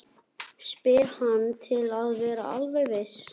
spyr hann til að vera alveg viss.